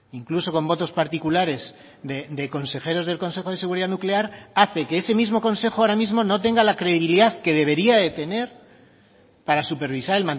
incluso con votos particulares de consejeros del consejo de seguridad nuclear hace que ese mismo consejo ahora mismo no tenga la credibilidad que debería de tener para supervisar